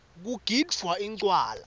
kugidvwa incwala